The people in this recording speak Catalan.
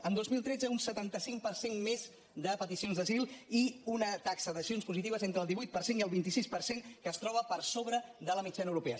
en el dos mil tretze un setanta cinc per cent més de petici·ons d’asil i una taxa d’accions positives entre el divuit per cent i el vint sis per cent que es troba per sobre de la mitja·na europea